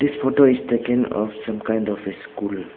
This photo is taken of some kind of a school.